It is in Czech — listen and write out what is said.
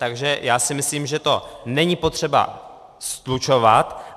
Takže já si myslím, že to není potřeba slučovat.